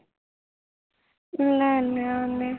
ਨਾ ਨਾ ਉਹਨੇ